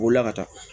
Bolila ka taa